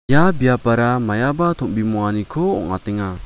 ia biapara maiaba tom·bimonganiko ong·atenga.